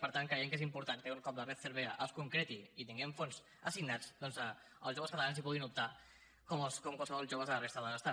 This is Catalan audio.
per tant creiem que és important que un cop la red cervera es concreti i hi tinguem fons assignats doncs els joves catalans hi puguin optar com qualsevol jove de la resta de l’estat